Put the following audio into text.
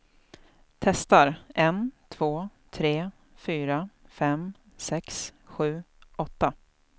Testar en två tre fyra fem sex sju åtta.